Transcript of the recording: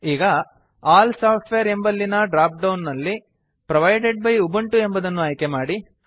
ಈಗ all software ಎಂಬಲ್ಲಿನ drop down ನಲ್ಲಿ ಪ್ರೊವೈಡೆಡ್ ಬೈ ಉಬುಂಟು ಎಂಬುದನ್ನು ಆಯ್ಕೆ ಮಾಡಿ